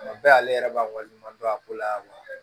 Tuma bɛɛ ale yɛrɛ b'a waleɲuman dɔn a ko la wa